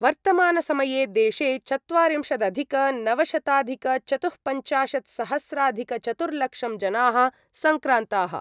वर्तमानसमये देशे चत्वारिंशदधिकनवशताधिकचतुःपञ्चाशत्सहस्राधिकचतुर्लक्षं जनाः सङ्क्रान्ताः।